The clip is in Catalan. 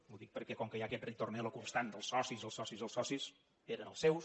ho dic perquè com que hi ha aquest ritornello constant dels socis els socis els socis eren els seus